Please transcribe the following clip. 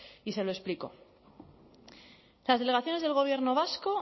y se lo explicó las delegaciones del gobierno vasco